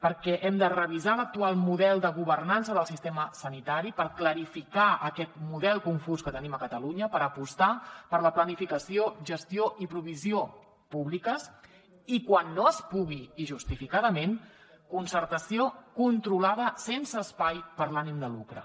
perquè hem de revisar l’actual model de governança del sistema sanitari per clarificar aquest model confús que tenim a catalunya per apostar per la planificació gestió i provisió públiques i quan no es pugui i justificadament concertació controlada sense espai per a l’ànim de lucre